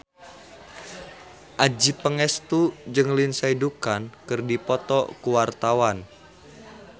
Adjie Pangestu jeung Lindsay Ducan keur dipoto ku wartawan